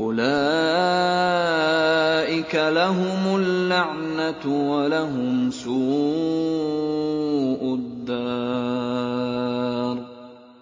أُولَٰئِكَ لَهُمُ اللَّعْنَةُ وَلَهُمْ سُوءُ الدَّارِ